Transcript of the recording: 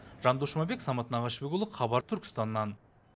жандос жұмабек самат нағашыбекұлы хабар түркістаннан